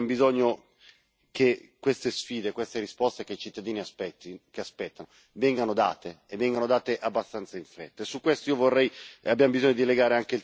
Però, vede, noi abbiamo bisogno che queste sfide, queste risposte che i cittadini aspettano, vengano date e vengono date abbastanza in fretta.